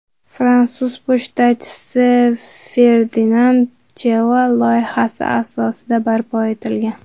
Fransuz pochtachisi – Ferdinand Cheval loyihasi asosidi barpo etilgan.